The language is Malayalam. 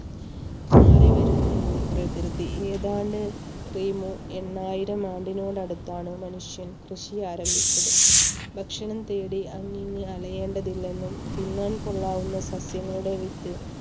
മാറിവരുന്ന ഭൂപ്രകൃതി ഏതാണ്ട് എണ്ണായിരം ആണ്ടിനോട് അടുത്താണ് മനുഷ്യൻ കൃഷി ആരംഭിച്ചത് ഭക്ഷണം തേടി അങ്ങനെ അറിയേണ്ടതില്ലെന്നും തിന്നാൻ കൊള്ളാവുന്ന സസ്യങ്ങളുടെ വിത്ത്